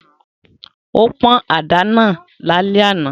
Ó pọ́n àdá náà lálẹ́ àná